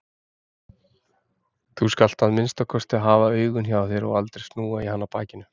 Þú skalt að minnsta kosti hafa augun hjá þér og aldrei snúa í hana bakinu.